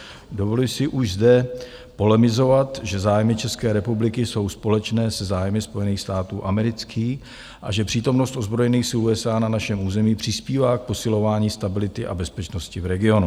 Dovoluji si už zde polemizovat, že zájmy České republiky jsou společné se zájmy Spojených států amerických a že přítomnost ozbrojených sil USA na našem území přispívá k posilování stability a bezpečnosti v regionu.